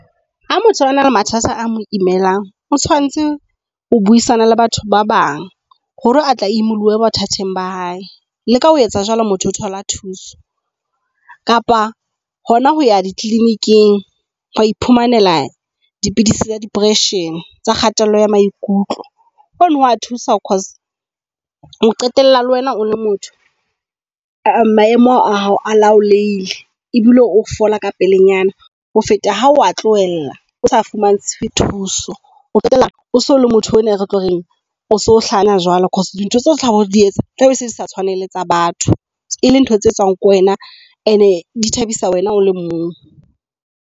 Ha motho a na le mathata a mo imelang, o tshwanetse ho buisana le batho ba bang hore a tle a imolohe bothateng ba hae. Le ka ho etsa jwalo motho o thola thuso kapa hona ho ya dikliniking ho iphumanela dipidisi tsa depression tsa kgatello ya maikutlo. Hoo hoa thusa cause o qetella le wena o le motho maemo a hao a laolehile ebile o fola ka pelenyana ho feta ha wa tlohela o sa fumantshwe thuso. Ho qetela o so le motho enwa retlo reng o so hlanya jwalo because dintho tseo tlabe o di etsa tlabe se tsa batho e le ntho tse etswang ke wena, and di thabisa wena o le mong.